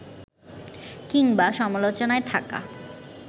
কিংবা সমালোচনায় থাকা